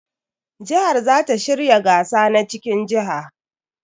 Jihar za ta shirya gasa na cikin jiha.